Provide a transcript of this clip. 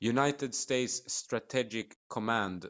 united states strategic command